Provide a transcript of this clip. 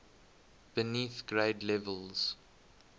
beneath grade levels